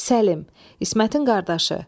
Səlim, İsmətin qardaşı.